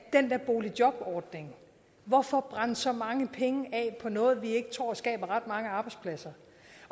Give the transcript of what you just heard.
den der boligjobordning hvorfor brænde så mange penge af på noget vi ikke tror skaber ret mange arbejdspladser